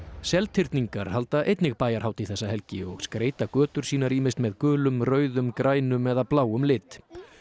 Seltirningar halda einnig bæjarhátíð þessa helgi og skreyta götur sínar ýmist með gulum rauðum grænum eða bláum lit